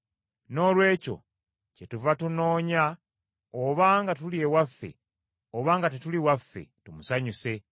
Noolwekyo kyetuva tunoonya oba nga tuli ewaffe oba nga tetuli waffe, tumusanyuse.